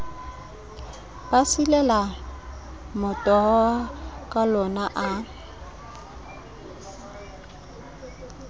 ba silela motoho kalona a